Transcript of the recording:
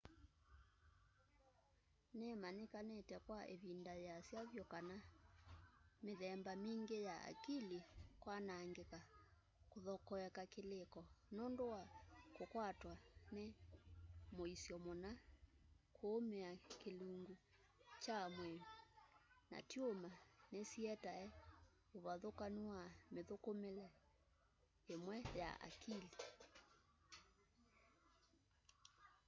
nĩmanyĩkanĩte kwa ĩvĩnda yĩasa vyũ kana mĩthemba mingĩ ya akili kwanangĩka kũthokoeka kĩlĩko nũndũ wa kũkwatwa nĩ mũisyo mũna kũũmĩa kĩlũngũ kya mwĩĩ na tyũma nĩsietae ũvathũkanũ wa mĩthũkũmĩle ĩmwe ya akili